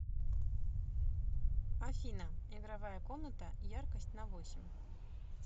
афина игровая комната яркость на восемь